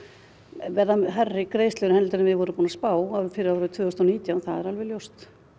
verða hærri greiðslur en við vorum búin að spá fyrir árið tvö þúsund og nítján það er alveg ljóst